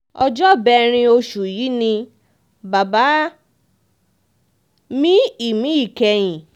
ọjọ́bẹ̀rin oṣù yìí ni bàbá náà mí ìmí ìkẹyìn